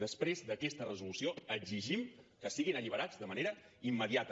després d’aquesta resolució exigim que siguin alliberats de manera immediata